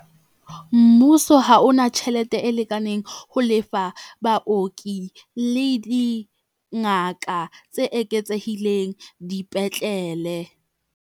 Mmuso ha ona tjhelete e lekaneng ho lefa baoki le dingaka tse eketsehileng dipetlele.